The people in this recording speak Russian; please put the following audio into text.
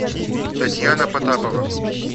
татьяна потапова